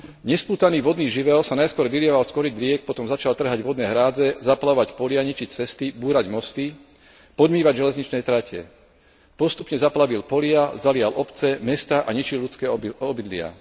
Nespútaný vodný živel sa najskôr vylieval z korýt riek, potom začal trhať vodné hrádze, zaplavovať polia, ničiť cesty, búrať mosty, podmývať železničné trate. Postupne zaplavil polia, zalial obce, mestá a ničil ľudské obydlia.